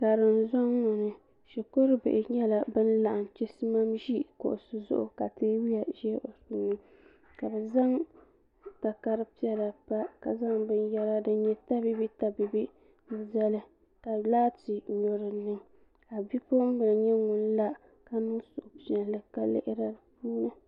karim zɔŋ ni shikuru bihi nyɛla bin laɣam chisimam ʒi kuɣu zuɣu ka teebuya ʒɛ di puuni ka bi zaŋ takari piɛla pa ka zaŋ binyɛra din nyɛ tabiibi tabiibi n zali ka laati nyo dinni ka bipuɣunbili nyɛ ŋun la ka niŋ suhupiɛlli ka lihiri di puuni